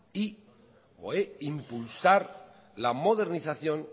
e impulsar la modernización